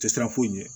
Tɛ siran foyi ɲɛ